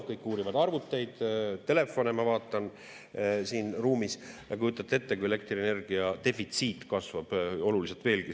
Kõik uurivad arvuteid ja telefone, ma vaatan, siin ruumis, ja kujutate ette, kui elektrienergia defitsiit kasvab veelgi.